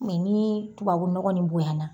Mɛ ni tubabunɔgɔn ni bonya na